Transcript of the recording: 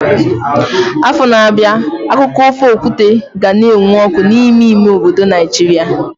Afọ na-abịa akụkọ ofe okwute ka ga na-enwu ọkụ n'ime ime obodo Naijiria.